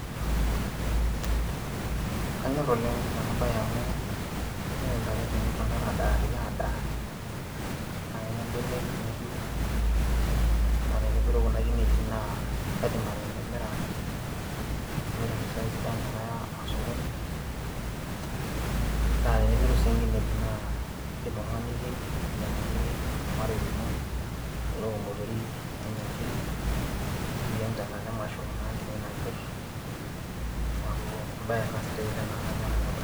Kanyorr oleng' ena baaye amu tenepuo ntare adaarie aadaa naa kenya mbenek nepiru naa tenepiru kuna kinejit kaidim ake atimira namirr impisai inonok tenaya osokoni, naa tenepiru sii nkinejik naa indim oltung'ani niyieng' ayieng'aki ormarei lino neok imotorik nenya nkiri ashu iyieng' tenkata emasho enkine napirr neeku embaye ena sidai oleng' naa kanyorr ena baye.